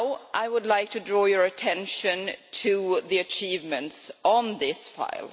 I would like to draw your attention to the achievements on this file.